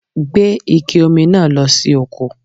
Gbé Ike Omi náà lọ sí oko